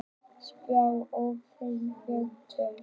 Spáir óbreyttum vöxtum